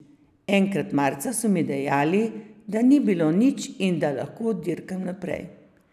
Enkrat marca so mi dejali, da ni bilo nič in da lahko dirkam naprej.